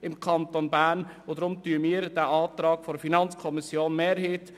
Deshalb unterstützen wir den Antrag der FiKo-Mehrheit.